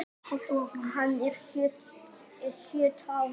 Hann er á sjötta árinu.